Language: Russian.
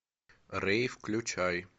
рэй включай